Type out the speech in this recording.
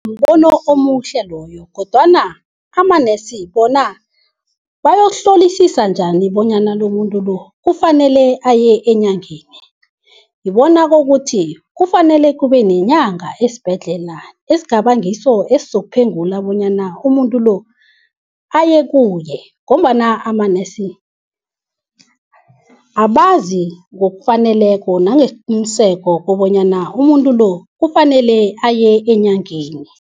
Mbono omuhle loyo, kodwana amanesi bona bayokuhlolisisa njani bonyana lomuntu lo kufanele aye enyangeni. Ngibona kokuthi kufanele kube nenyanga esibhedlela, esingaba ngiso esizokuphengula bonyana umuntu lo ayekuye ngombana ama-nurse abazi ngokufaneleko nangesiqiniseko kobanyana umuntu lo kufanele aye enyangeni.